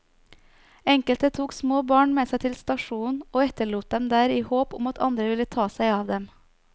Enkelte tok små barn med seg til stasjonen og etterlot dem der i håp om at andre ville ta seg av dem.